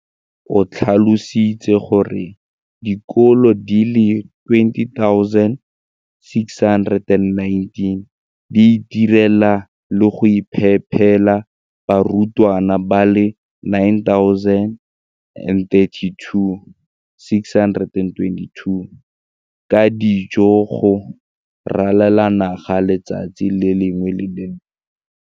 O tlhalositse gore dikolo di le 20 619 di itirela le go iphepela barutwana ba le 9 032 622 ka dijo go ralala naga letsatsi le lengwe le le lengwe.